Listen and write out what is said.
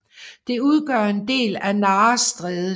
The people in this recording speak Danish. Det udgør en del af Nares Strædet